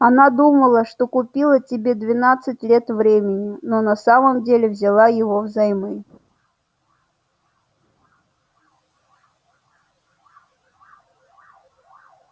она думала что купила тебе двенадцать лет времени но на самом деле взяла его взаймы